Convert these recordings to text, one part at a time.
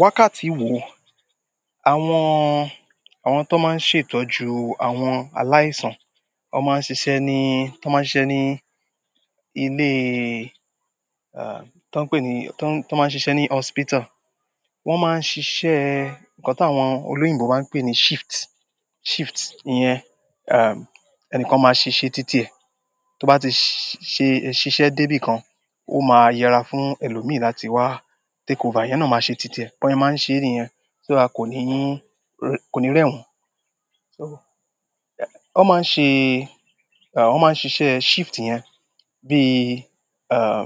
Wákàtí wo? Àwọn, àwọn tó máa ń ṣètọ́jú àwọn aláìsàn, wọ́n máa ń ṣiṣẹ́ ní, won máa ń ṣiṣẹ́ ní ilé, ah, tó ń pè ní, tó, tó máa ń ṣiṣẹ́ ní hospital. Wọ́n máa ń ṣiṣẹ́ nǹkan tàwọn olóyìnbo máa ń pè ní shift, shift iyẹn, ah, ẹnìkan máa ṣi ṣé títìẹ. Tó bá ti ṣe, ṣiṣẹ́ dé bí kan, ó máa yẹra fún ẹlòmíí láti wá takeover, ìyẹn náà máa ṣe títìẹ, bose máa ń ṣe ìrìn yẹn, so that kò ní, kò ní rẹ́won. So, wọ́n máa ń ṣe, ah, wọ́n máa ń ṣiṣẹ́ shift yẹn bí, ah,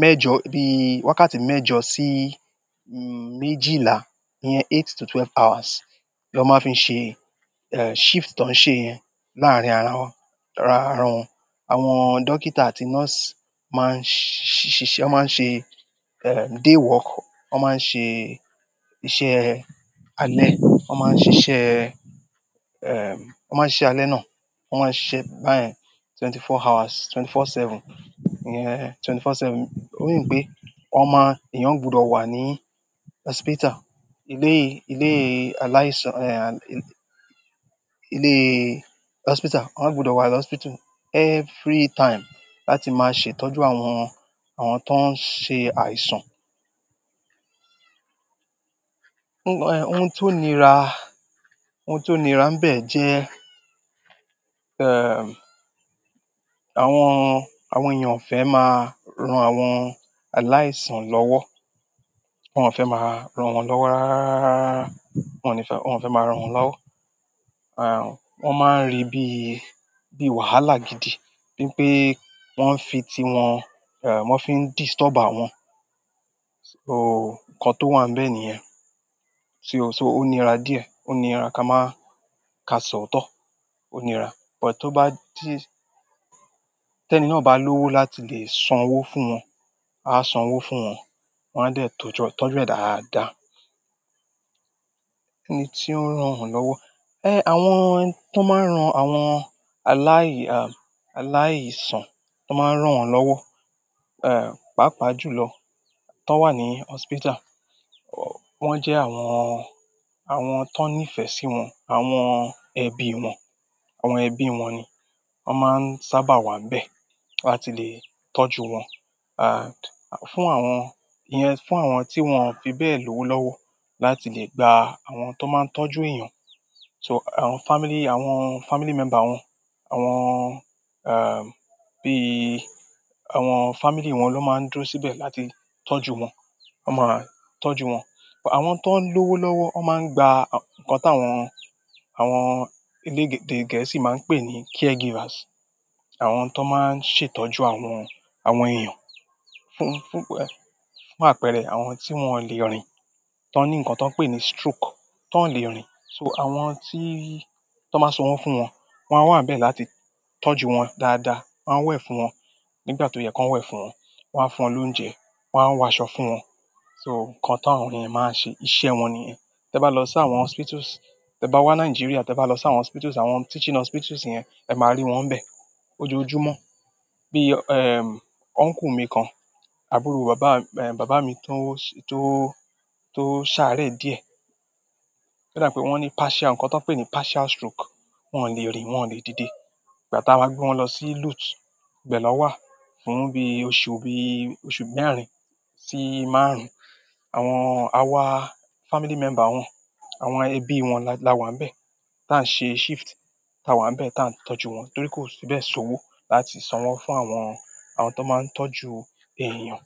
mẹ́jọ, bí wákàtí mẹ́jọ sí méjìlá, ìyẹn eight to twelve hours ni wọn máa fi ṣe, eh, shift tó ń ṣe yẹn láàárín ara wọn, ara, ara wọn. Àwọn dókítà àti nọ́ọ̀sì máa ń ṣiṣẹ́, wọ́n máa ń ṣe, eh, day work, wọ́n máa ń ṣe iṣẹ́ alẹ́, wọ́n máa ń ṣiṣẹ́, eh, wọ́n máa ń ṣe alẹ́ náà, wọ́n máa ń ṣiṣẹ́ báyẹn twenty four hours, twenty four seven, ìyẹn twenty four seven. Ó mean pé wọ́n máa, èèyàn gbọdọ̀ wà ní hospital, ilé, ilé aláìsàn, eh, ilé, hospital, wọ́n gbọdọ̀ wà ní hospital every time láti máa ṣètọ́jú àwọn, àwọn tó ń ṣe àìsàn. Ohun tó nira, ohun tó nira ń bẹ jẹ́, eh, àwọn, àwọn èèyàn ò fẹ́ máa ran àwọn aláìsàn lọ́wọ́. Wọn ò fẹ́ máa ran wọ́n lọ́wọ́ rárárarara. Wọn ò ní fẹ́, wọ́n ò fẹ́ máa ran wọ́n lọ́wọ́. Wọ́n máa ń rí bí, bí wàhálà gidi, bí i pé wọ́n ń fi ti wọn, eh, wọ́n fi ń disturb àwọn. So, nǹkan tó wà ń bẹ́ẹ̀ nìyẹn. Si o, so ó nira díẹ̀, ó nira ká máa, ká sọ̀ o tọ́, ó nira. But tó bá ti, tẹ́ní náà bá lówó láti lè sanwó fún wọn, a sanwó fún wọn, wọ́n a de tọ́jú, tọ́jú ẹ̀ dáadáa. Tí ó ń ran wọ́n lọ́wọ́. Eh, àwọn tan máa ń ran àwọn aláì, ah, aláìsàn tó máa ń rán wọ́n lọ́wọ́, eh, pàápàá jùlọ to wà ní hospital, wọ́n jẹ́ àwọn, àwọn tan nífẹ̀ẹ́ sí wọn, àwọn ẹbí wọn, àwọn ẹbí wọn ni. Wọ́n máa ń sábà wà ń bẹ́ẹ̀ láti lè tọ́jú wọn. Ah, fún àwọn, ìyẹn fún àwọn tí wọ́n fi bẹ́ẹ̀ lówó lọ́wọ́ láti lè gba àwọn tó máa ń tọ́jú èèyàn. So àwọn family, àwọn family member wọn, àwọn, ah, bí i àwọn family wọn ló máa ń dúró síbẹ̀ láti tọ́jú wọn. Wọ́n máa tọ́jú wọn. Àwọn tó ń lówó lọ́wọ́, wọ́n máa ń gba nǹkan tí àwọn, àwọn elèdè Gẹ̀ẹ́sì máa ń pè ní caregivers. Àwọn tó máa ń ṣètọ́jú àwọn, àwọn èèyàn fún, fún pẹ́, fún àpẹẹrẹ àwọn tí wọ́n le rìn, tó ní nǹkan tó ń pè ní stroke, tó le rìn. So, àwọn ti, tan maa san wo fún won, won a wa n be láti tọ́jú won dáadáa, won a we fún won nígbà to ye kan we fún won, won a fún won lounje, won a wo aṣọ fún won. So, nǹkan ta won yẹn máa ṣe iṣẹ́ wọn nìyẹn. Tẹ bá lọ sí àwọn hospitals, tẹ bá wá Nigeria tẹ bá lọ sí àwọn hospitals, àwọn teaching hospitals yẹn, ẹ máa rí wọ́n bẹ́ẹ̀, ojoojúmọ́. Bíi, eh, uncle mi kan, àbúrò bàbá, eh, bàbá mi tó, tó, tó sáré díẹ̀. Ó dà pé wọ́n ní partial, nǹkan tó ń pè ní partial stroke. Wọ́n ò lè rìn, wọ́n ò lè dìde. Ìgbà tá wa gbé wọn lọ sí Luth ibẹ lọ́wà fún bí oṣù, bí i oṣù mẹ́rin sí márùn-ún, àwọn, àwa family member wọn, àwọn ẹbí wọn la wà ń bẹ́ẹ̀ tí à ń ṣe shift. Tá a wà ń bẹ́ẹ̀ táa ń tọ́jú wọn torí kò sí bẹ́ẹ̀ sowó láti sanwó fún àwọn, àwọn tó máa ń tọ́jú èèyàn.